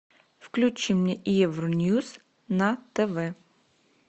включи мне евроньюс на тв